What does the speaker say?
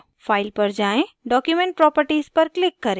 file पर जाएँ document properties पर click करें